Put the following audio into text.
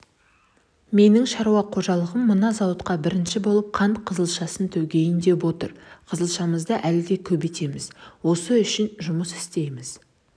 менің шаруа қожалығым мына зауытқа бірінші болып қант қызылшасын төгейін деп отыр қызылшамызды әлі де көбейтеміз осы үшін жұмыс істейміз